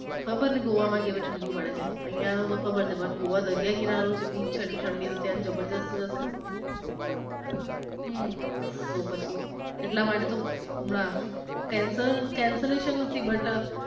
ખબર નઈ ગોવા માં તો કેવી ઠંડી પડે છે. આયાનું તો ખબર છે. but ગોવા દરીયા કિનારો છે. beach છે. એટલે ઠંડી તો તૈયા જબરદસ્ત હશે. હમ તો પછી એટલા માટે તો હમણાં cancel cancelationn નથી but